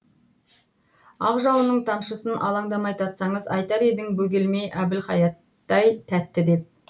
ақ жауынның тамшысын алаңдамай татсаңыз айтар едің бөгелмей әбілхаяттай тәтті деп